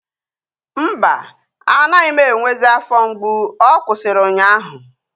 Mba, anaghị m enwezi afọ mgbu. Ọ kwụsịrị ụnyaahụ